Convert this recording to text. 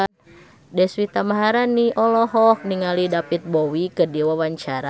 Deswita Maharani olohok ningali David Bowie keur diwawancara